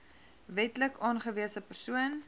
wetlik aangewese persoon